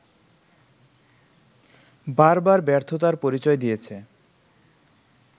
বারবার ব্যর্থতার পরিচয় দিয়েছে